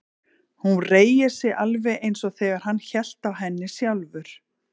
Hún reigir sig alveg eins og þegar hann hélt á henni sjálfur.